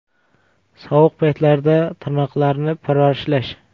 Sovuq paytlarda tirnoqlarni parvarishlash.